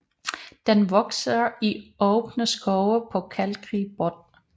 Den vokser i åbne skove på kalkrig bund